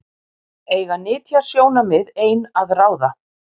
Eiga nytjasjónarmið ein að ráða?